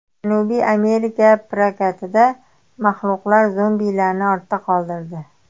Janubiy Amerika prokatida maxluqlar zombilarni ortda qoldirdi.